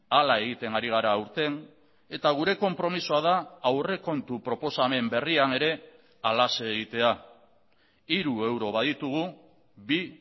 hala egiten ari gara aurten eta gure konpromisoa da aurrekontu proposamen berrian ere halaxe egitea hiru euro baditugu bi